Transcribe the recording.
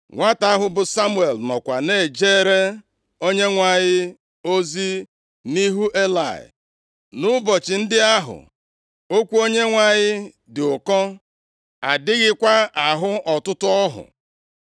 Nwata ahụ bụ Samuel nọkwa na-ejere Onyenwe anyị ozi nʼihu Elayị. Nʼụbọchị ndị ahụ okwu Onyenwe anyị dị ụkọ, adịghịkwa ahụ ọtụtụ ọhụ.